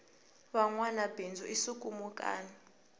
vanwama bindzu i swikhumukani